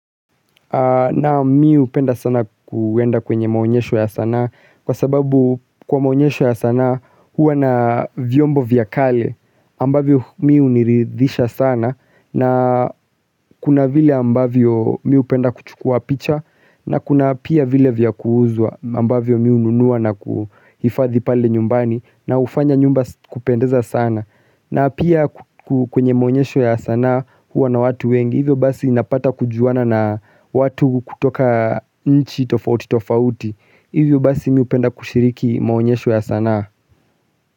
Na mi hupenda sana kuenda kwenye maonyesho ya sanaa kwa sababu kwa maonyesho ya sanaa huwa na vyombo vya kale ambavyo mi huniridhisha sana na kuna vile ambavyo mi hupenda kuchukua picha na kuna pia vile vya kuuzwa ambavyo mi hununua na kuhifadhi pale nyumbani na hufanya nyumba kupendeza sana. Na pia kwenye maonyesho ya sanaa huwa na watu wengi, hivyo basi napata kujuana na watu kutoka nchi tofauti tofauti, hivyo basi mi hupenda kushiriki maonyesho ya sanaa.